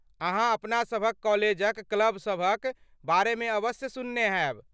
अहाँ अपना सभक कॉलेजक क्लब सभक बारेमे अवश्य सुनने हैब।